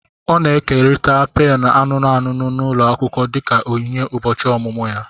Ọ na-ekerịta pènù anụnụ anụnụ n'ụlọ akwụkwọ dịka onyinye ụbọchị ọmụmụ ya